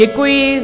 Děkuji.